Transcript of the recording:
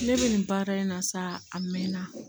Ne bɛ nin baara in na sa a mɛn na